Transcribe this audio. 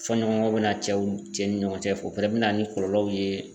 Fɔɲɔgɔnkɔ be na cɛw cɛ ni ɲɔgɔncɛ ,o fɛnɛ be na ni kɔlɔlɔw ye.